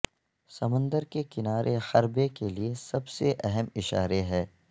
سمندر کے کنارے حربے کے لئے سب سے اہم اشارے ہے